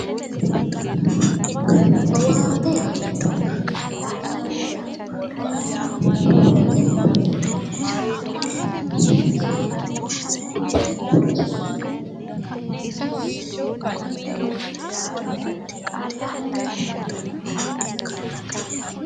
Owaante yineemmo woyte owaante awaanteemmoreti lowontanni owaante yaa ishi yaate, ishi yiinohu baalunku lowontanni manna hagiirsiisano